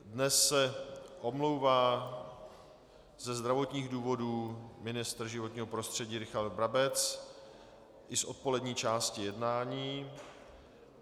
Dnes se omlouvá ze zdravotních důvodů ministr životního prostředí Richard Brabec i z odpolední části jednání.